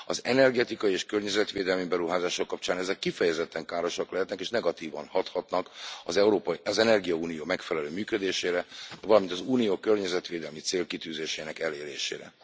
Az energetikai és környezetvédelmi beruházások kapcsán ezek kifejezetten károsak lehetnek és negatívan hathatnak az energiaunió megfelelő működésére, valamint az Unió környezetvédelmi célkitűzésinek elérésére.